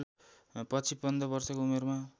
पछि पन्ध्र वर्षको उमेरमा